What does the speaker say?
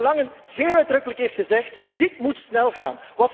Waar de heer Langen zeer uitdrukkelijk heeft gezegd dit moet snel gaan.